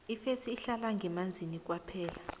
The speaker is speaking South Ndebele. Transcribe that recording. ifesi ihlala ngemanzini kwaphela